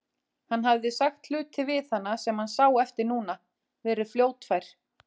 Hann hafði sagt hluti við hana sem hann sá eftir núna, verið fljótfær.